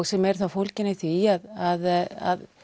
sem eru þá fólgin í því að